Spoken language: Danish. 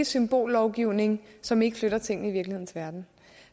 symbollovgivning som ikke flytter tingene i virkelighedens verden